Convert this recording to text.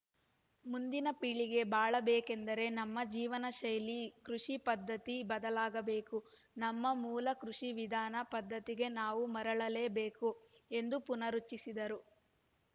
ಮುಂದಿನ ಪೀಳಿಗೆ ಬಾಳಬೇಕೆಂದರೆ ನಮ್ಮ ಜೀವನಶೈಲಿ ಕೃಷಿ ಪದ್ಧತಿ ಬದಲಾಗಬೇಕು ನಮ್ಮ ಮೂಲ ಕೃಷಿ ವಿಧಾನ ಪದ್ಧತಿಗೆ ನಾವು ಮರಳಲೇಬೇಕು ಎಂದು ಪುರ್ನರುಚ್ಛರಿಸಿದರು